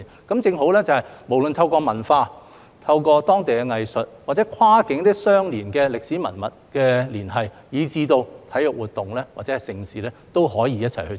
這正好說明，無論透過文化、當地藝術或跨境相連的歷史文物的連繫，以至體育活動或盛事，也可以一起推行。